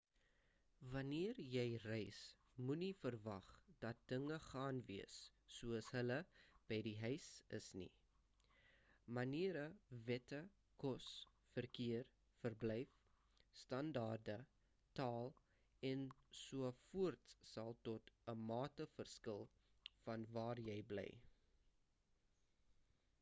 wanneer jy reis moenie verwag dat dinge gaan wees soos hulle by die huis is nie maniere wette kos verkeer verblyf standaarde taal en so voorts sal tot 'n mate verskil van waar jy bly